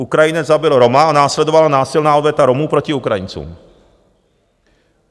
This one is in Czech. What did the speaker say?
Ukrajinec zabil Roma a následovala násilná odveta Romů proti Ukrajincům.